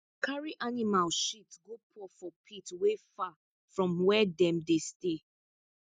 carry animal shit go pour for pit wey far from where dem dey stay